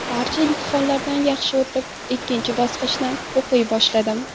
Barcha imtihonlardan yaxshi o‘tib, ikkinchi bosqichdan o‘qiy boshladim.